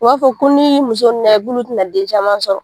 U b'a fɔ ko n'i ye muso na k'olu tɛna den caman sɔrɔ